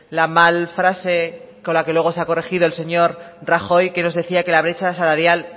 la mal frase con la que luego se ha corregido el señor rajoy que nos decía que la brecha salarial